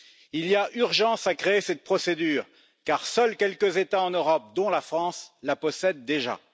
Il y a urgence à créer cette procédure car seuls quelques États en Europe, dont la France, la possèdent déjà.